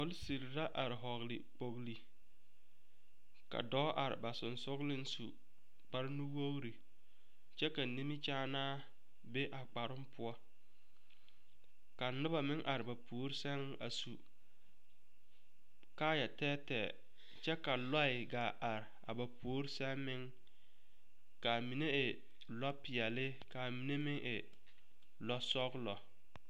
polsire la are vɔgle kpoŋle ka dɔɔ are ba sɔgsɔgliŋ su kpare nu wogre kyɛ ka nimikyaanaa be a kparoo poɔ ka noba meŋ are ba puori seŋ a su kaaya tɛɛtɛɛ ka lɔɛ gaa are ba puori seŋ kaa mine e lɔ peɛle kaa mine meŋ e lɔɔ sɔglɔ.